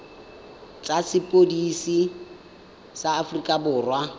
tsa sepodisi sa aforika borwa